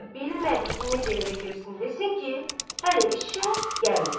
və bilmədi ki, necə evə girsin desin ki, hələ eşşək gəlməyib.